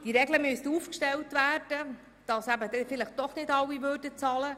Es müssten Regeln aufgestellt werden, dass vielleicht doch nicht ganz alle zahlen müssten.